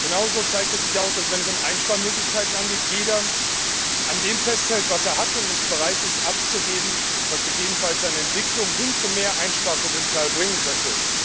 Genauso zeigt es sich auch, dass, wenn es um Einsparmöglichkeiten geht, jeder an dem festhält, was er hat, und nicht bereit ist, etwas abzugeben, was gegebenenfalls eine Entwicklung hin zu mehr Einsparpotenzial bringen könnte.